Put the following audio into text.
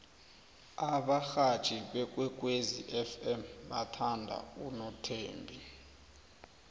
abarhatjhi bekwekwezi fm bathanda unothembi